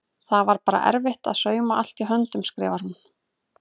Það var bara erfitt að sauma allt í höndunum skrifar hún.